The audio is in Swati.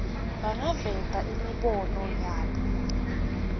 bangaveta imibono yabo